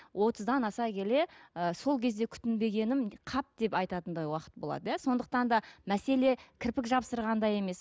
отыздан аса келе ы сол кезде күтінбегенім қап деп айтатындай уақыт болады иә сондықтан да мәселе кірпік жабыстырғанда емес